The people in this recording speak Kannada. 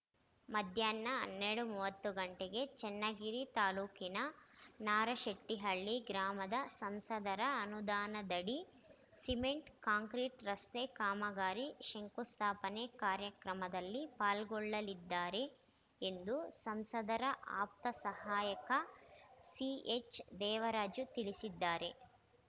ಮಧ್ಯಾಹ್ನ ಹನ್ನೆರಡು ಮೂವತ್ತು ಗಂಟೆಗೆ ಚನ್ನಗಿರಿ ತಾಲೂಕಿನ ನಾರಶೆಟ್ಟಿಹಳ್ಳಿ ಗ್ರಾಮದ ಸಂಸದರ ಅನುದಾನದಡಿ ಸಿಮೆಂಟ್‌ ಕಾಂಕ್ರೀಟ್‌ ರಸ್ತೆ ಕಾಮಗಾರಿ ಶಂಕುಸ್ಥಾಪನೆ ಕಾರ್ಯಕ್ರಮದಲ್ಲಿ ಪಾಲ್ಗೊಳ್ಳಲಿದ್ದಾರೆ ಎಂದು ಸಂಸದರ ಆಪ್ತ ಸಹಾಯಕ ಸಿಎಚ್‌ ದೇವರಾಜ ತಿಳಿಸಿದ್ದಾರೆ